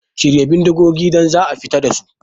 A shirya bindigogin da za a fita dasu